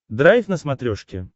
драйв на смотрешке